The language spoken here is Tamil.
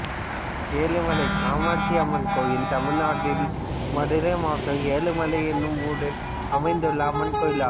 எழுமலை காமாட்சி அம்மன் கோயில் தமிழ்நாட்டில் மதுரை மாவட்டம் எழுமலை என்னும் ஊரில் அமைந்துள்ள அம்மன் கோயிலாகும்